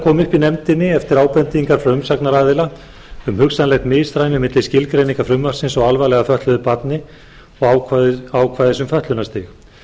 upp í nefndinni eftir ábendingu frá umsagnaraðila um hugsanlegt misræmi milli skilgreiningar frumvarpsins á alvarlega fötluðu barni og ákvæðis um fötlunarstig